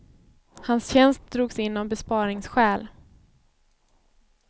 Hans tjänst drogs in av besparingsskäl.